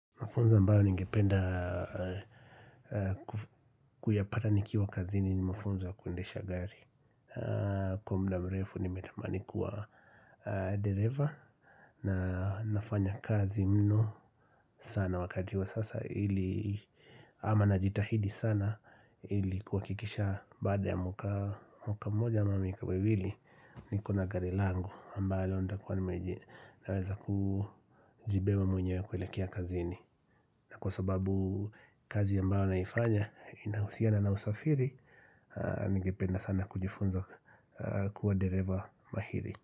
Mafunzo ambayo ningependa kuyapata nikiwa kazini ni mafunzo ya kuendesha gari. Kwa mda mrefu nimetamani kuwa dereva na nafanya kazi mno sana wakatiwa sasa ili ama na jitahidi sana ili kuwakikisha bada ya mwaka mmoja miaka miwili niko na gari langu ambalo onda kwa naweza kujibewa mwenyewe kwelekea kazini. Na kwa sababu kazi ambayo naifanya inahusiana na usafiri Ningependa sana kujifunza kuwa dereva mahiri.